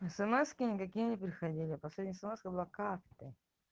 эсэмэски никакие не приходили последняя смска была как ты